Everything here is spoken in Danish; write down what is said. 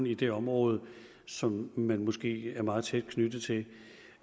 i det område som man måske er meget tæt knyttet til